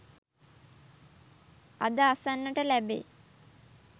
අද අසන්නට ලැබේ.